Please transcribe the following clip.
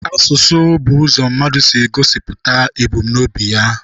Asụsụ bụ ụzọ mmadụ si egosipụta ebumnobi ya.